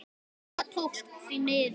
Það tókst, því miður.